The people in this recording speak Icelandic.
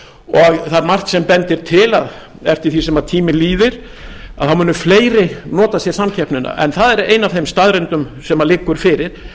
það er margt sem bendir til að eftir því sem tíminn líði þá muni fleiri nota sér samkeppnina en það er ein af þeim staðreyndum sem liggur fyrir